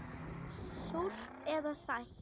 Súrt eða sætt.